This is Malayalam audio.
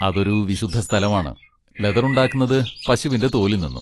അതൊരു വിശുദ്ധ സ്ഥലമാണ്, ലെതർ ഉണ്ടാക്കുന്നത് പശുവിൻ്റെ തോലിൽ നിന്നും.